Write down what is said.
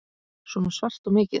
Svona svart og mikið.